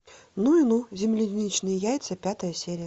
ну и ну земляничные яйца пятая серия